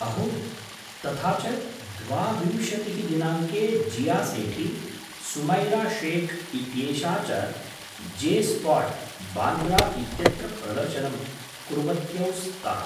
अहो! तथा च द्वाविंशतिः दिनाङ्के जिया सेठी, सुमैरा शेख् इत्येषा च जे स्पॉट्, बान्द्रा इत्यत्र प्रदर्शनं कुर्वत्यौ स्तः।